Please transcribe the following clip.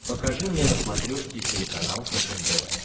покажи мне на смотрешке телеканал фэшен тв